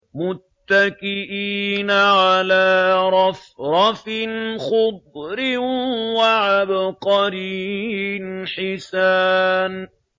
مُتَّكِئِينَ عَلَىٰ رَفْرَفٍ خُضْرٍ وَعَبْقَرِيٍّ حِسَانٍ